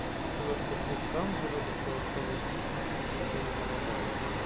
учитывая что ты сам говоришь голосовыми очевидно не помогает